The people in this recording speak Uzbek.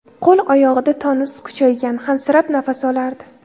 Qo‘l-oyog‘ida tonus kuchaygan, hansirab nafas olardi.